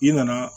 I nana